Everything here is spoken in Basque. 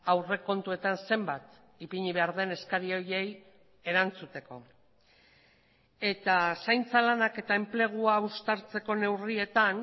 aurrekontuetan zenbat ipini behar den eskari horiei erantzuteko eta zaintza lanak eta enplegua uztartzeko neurrietan